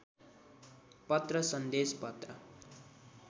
पत्र सन्देश पत्र